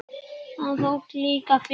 Það þótti líka fínt.